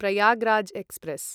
Prayagraj express